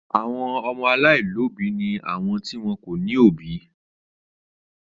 Àwọn ọmọ aláìlóòbí ni àwọn tí wọn kò ní òbí.